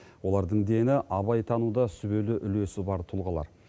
олардың дені абайтануда сүбелі үлесі бар тұлғалар